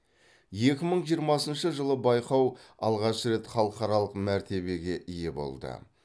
екі мың жиырмасыншы жылы байқау алғаш рет халықаралық мәртебеге ие болды